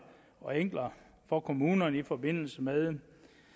og enklere for kommunerne i forbindelse med